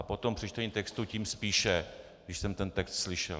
A potom při čtení textu tím spíše, když jsem ten text slyšel.